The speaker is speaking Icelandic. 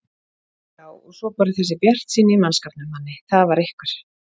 Já og svo bara þessi bjartsýni í mannskapnum, Manni, það var einhver